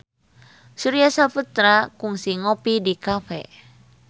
Surya Saputra kungsi ngopi di cafe